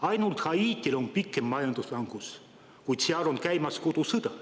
Ainult Haitil on pikem majanduslangus, kuid seal on käimas kodusõda.